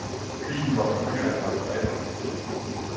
Bilen var for dyr at reparere.